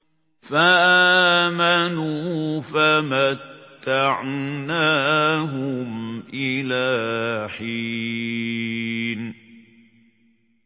فَآمَنُوا فَمَتَّعْنَاهُمْ إِلَىٰ حِينٍ